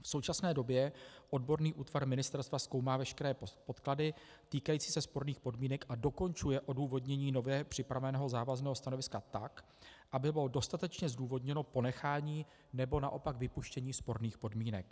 V současné době odborný útvar ministerstva zkoumá veškeré podklady týkající se sporných podmínek a dokončuje odůvodnění nově připraveného závazného stanoviska tak, aby bylo dostatečně zdůvodněno ponechání, nebo naopak vypuštění sporných podmínek.